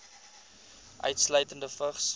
insluitende vigs